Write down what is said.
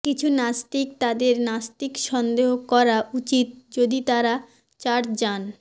কিছু নাস্তিক তাদের নাস্তিক সন্দেহ করা উচিত যদি তারা চার্চ যান